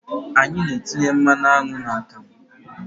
Anyị na-etinye mmanụ aṅụ n'akamụ.